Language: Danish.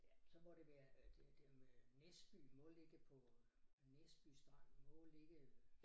Ja så må det være øh det dem øh Næsby må ligge på Næsby Strand må ligge